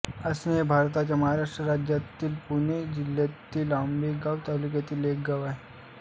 आसणे हे भारताच्या महाराष्ट्र राज्यातील पुणे जिल्ह्यातील आंबेगाव तालुक्यातील एक गाव आहे